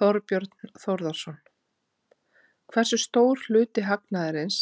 Þorbjörn Þórðarson: Hversu stór hluti hagnaðarins